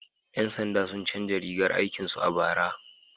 Ƴan sanda sun canza rigar aikin su a bara.